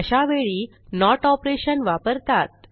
अशावेळी note operation वापरतात